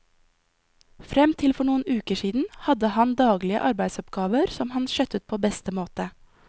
Frem til for noen uker siden hadde han daglige arbeidsoppgaver, som han skjøttet på beste måte.